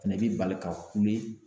Fɛnɛ bi bali ka kule